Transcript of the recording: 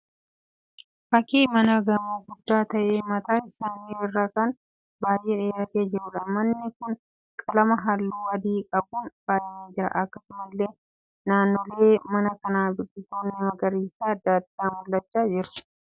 Fakkii mana gamoo guddaa ta'ee mataan isaa irri kan baay'ee dheeratee jiruudha. Manni kun qalama halluu adii qabuun faayyamee jira. Akkasumallee naannoolee mana kanaa biqiloonni magariisaa adda addaa mul'achaa jiru.